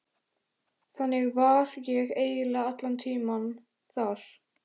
Þannig var ég eiginlega allan tímann þar.